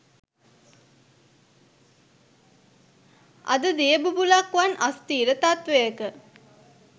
අද දිය බුබුළක් වන් අස්ථීර තත්වයක